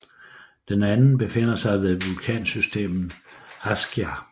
Den anden befinder sig ved vulkansystemet Askja